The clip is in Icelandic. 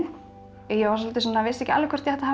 ég vissi ekki alveg hvort ég ætti að hafa